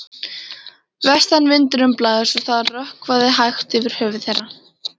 Vestanvindurinn blæs og það rökkvar hægt yfir höfði þeirra.